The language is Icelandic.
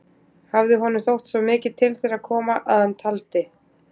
Hafði honum þótt svo mikið til þeirra koma, að hann taldi